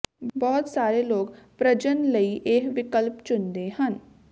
ਬਹੁਤ ਸਾਰੇ ਲੋਕ ਪ੍ਰਜਨਨ ਲਈ ਇਹ ਵਿਕਲਪ ਚੁਣਦੇ ਹਨ